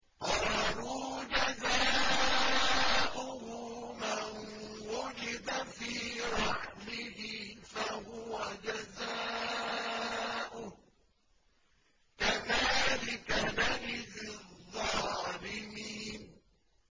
قَالُوا جَزَاؤُهُ مَن وُجِدَ فِي رَحْلِهِ فَهُوَ جَزَاؤُهُ ۚ كَذَٰلِكَ نَجْزِي الظَّالِمِينَ